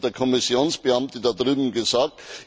Was hat der Kommissionsbeamte da drüben gesagt?